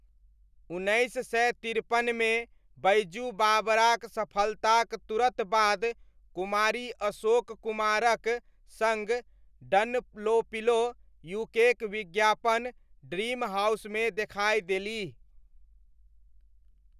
उन्नैस सय तिरपनमे बैजू बावराक सफलताक तुरत बाद कुमारी अशोक कुमारक सङ्ग डनलोपिलो यूकेक विज्ञापन 'ड्रीम हाउस' मे देखाइ देलीह।